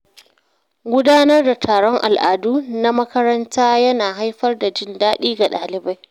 Gudanar da taron al’adu na makaranta ya na haifar da jin daɗi ga ɗalibai.